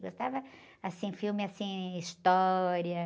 Gostava, assim, filme, assim, história.